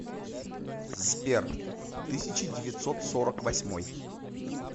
сбер тысяча девятьсот сорок восьмой